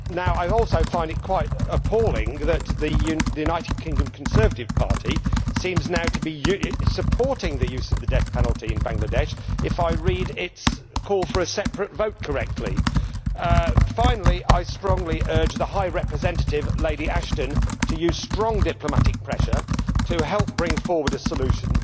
I also find it quite appalling that the United Kingdom Conservative Party seems now to be supporting the use of the death penalty in Bangladesh, if I read its call for a separate vote correctly. Finally, I strongly urge the Vice President High Representative, Lady Ashton, to use strong diplomatic pressure to help bring forward a solution.